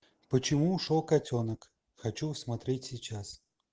почему ушел котенок хочу смотреть сейчас